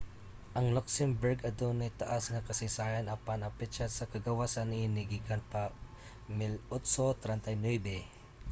ang luxembourg adunay taas nga kasaysayan apan ang petsa sa kagawasan niini gikan pa 1839